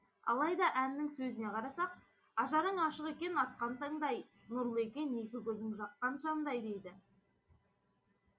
алайда әннің сөзіне қарасақ ажарың ашық екен атқан таңдай нұрлы екен екі көзің жаққан шамдай дейді